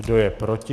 Kdo je proti?